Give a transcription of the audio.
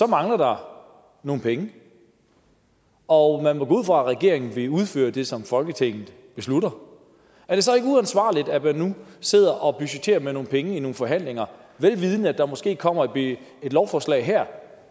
mangler der nogle penge og man må gå ud fra at regeringen vil udføre det som folketinget beslutter er det så ikke uansvarligt at man nu sidder og budgetterer med nogle penge i nogle forhandlinger velvidende at der måske kommer et lovforslag her